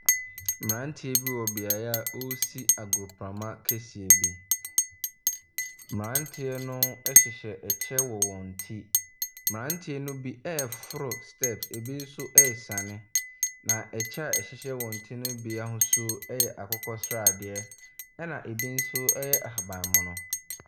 Mmeranteɛ bi wɔ beaeɛ a wɔresi agoprama kɛseɛ bi. Mmeranteɛ no hyehyɛ ɛkyɛ wɔ wɔn ti. Mmeranteɛ no bi reforo step. Ɛbi nso resiane. Na ɛkyɛ a ɛhyehyɛ wɔn ti no bi ahosuo yɛ akokɔsradeɛ, ɛna ɛbi nso yɛ ahabammono.